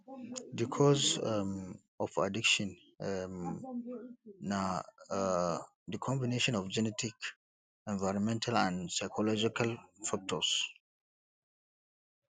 di cause um of addiction um na um di combination of genetic environmental and psychological factors